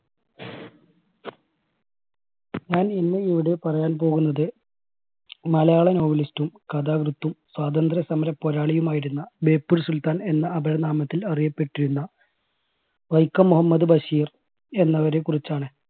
ഞാൻ ഇന്ന് ഇവിടെ പറയാൻ പോകുന്നത് മലയാള novel സ്റ്റ് കഥാകൃത്ത് സ്വാതന്ത്ര്യസമര പോരാളിയും ആയിരുന്ന ബേപ്പൂർ സുൽത്താൻ എന്ന അപരനാമത്തിൽ അറിയപ്പെട്ടിരുന്ന വൈക്കം മുഹമ്മദ് ബഷീർ എന്നവരെ കുറിച്ചാണ്.